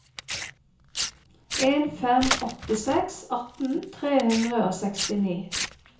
en fem åtte seks atten tre hundre og sekstini